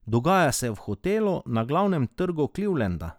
Dogaja se v hotelu na glavnem trgu Clevelanda.